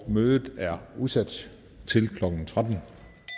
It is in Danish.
mødet er udsat til klokken tretten